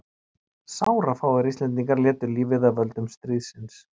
Sárafáir Íslendingar létu lífið af völdum stríðsins.